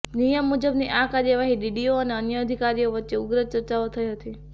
નિયમ મુજબની આ કાર્યવાહી સામે ડીડીઓ અને અન્ય અધિકારીઓ વચ્ચે ઉગ્ર ચર્ચાઓ થઇ હતી